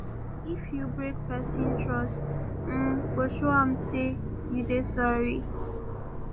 if you break pesin trust you um go show am sey you dey sorry